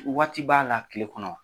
Waati b'a la kile kɔnɔ wa ?